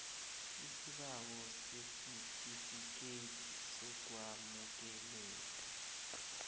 isibawo sesitifikethi sokwamukeleka